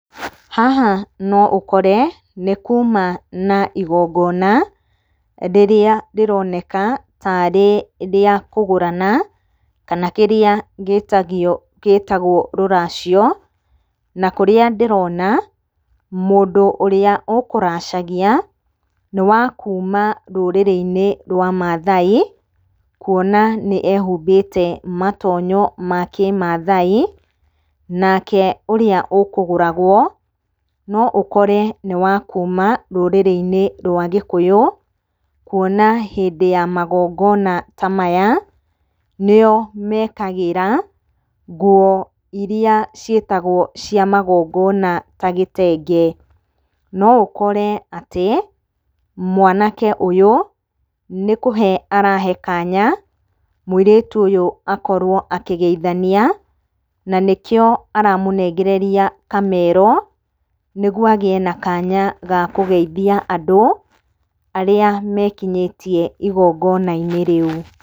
Haha noũkore nĩ kuma na igongona, rĩrĩa rĩroneka tarĩ rĩa kũgũrana, kana kĩrĩa gĩtagio, gĩtagwo rũracio. Na kũrĩa ndĩrona, mũndũ ũrĩa ũkũracagia nĩ wa kuuma rũrĩrĩ-inĩ rwa Mathai, kuona nĩ ehumbĩte matonyo ma kĩ-Mathai. Nake ũrĩa ũkũgũragwo, no ũkore nĩ wa kuma rũrĩrĩ-inĩ rwa Gĩkũyũ kũona hĩndĩ ya magongona ta maya, nĩo mekagĩra nguo iria ciĩtagwo cia magongona ta gĩtenge. No ũkore atĩ mwanake ũyũ nĩkũhe arahe kanya mũirĩtu ũyũ akorwo akĩgeithania, na nĩkĩo aramũnengereria kamero, nĩguo agĩe na kanya ga kũgeithia andũ arĩa mekinyĩtie igongona-inĩ rĩu.